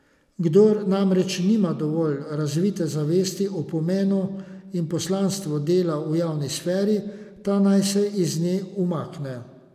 Kdor namreč nima dovolj razvite zavesti o pomenu in poslanstvu dela v javni sferi, ta naj se iz nje umakne.